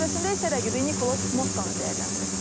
Müsahibəsində isə rəqibi Nikolas Mottanı dəyərləndirib.